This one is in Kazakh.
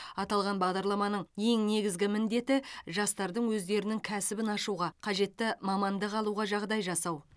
аталған бағдарламаның ең негізгі міндеті жастардың өздерінің кәсібін ашуға қажетті мамандық алуға жағдай жасау